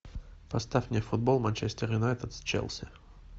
поставь мне футбол манчестер юнайтед с челси